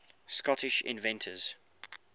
scottish inventors